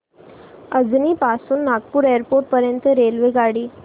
अजनी पासून नागपूर एअरपोर्ट पर्यंत रेल्वेगाडी